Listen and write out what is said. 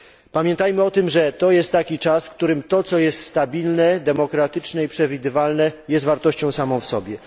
Pamiętajmy o tym, że to jest taki czas, w którym to, co jest stabilne, demokratyczne i przewidywalne, jest wartością samą w sobie.